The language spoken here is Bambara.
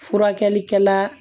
Furakɛlikɛla